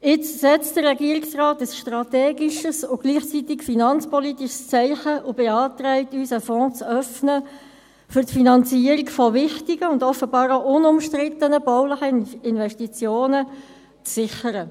Jetzt setzt der Regierungsrat ein strategisches und gleichzeitig ein finanzpolitisches Zeichen und beantragt uns, einen Fonds zu äufnen, um die Finanzierung von wichtigen und offenbar auch unbestrittenen baulichen Investitionen zu sichern.